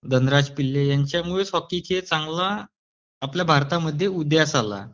धनराज पिल्ले ह्यांच्यामुळेच हॉकीचा चांगला आपल्या भारतामध्ये उदयास आला.